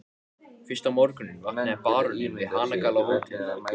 Ertu klár í næsta leik, ertu alveg heill?